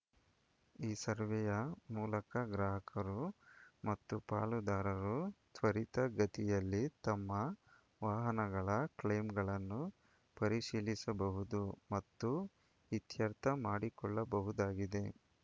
ಈ ಸರ್ವೆಯ ಮೂಲಕ ಗ್ರಾಹಕರು ಮತ್ತು ಪಾಲುದಾರರು ತ್ವರಿತ ಗತಿಯಲ್ಲಿ ತಮ್ಮ ವಾಹನಗಳ ಕ್ಲೈಮ್‌ಗಳನ್ನು ಪರಿಶೀಲಿಸಬಹುದು ಮತ್ತು ಇತ್ಯರ್ಥ ಮಾಡಿಕೊಳ್ಳಬಹುದಾಗಿದೆ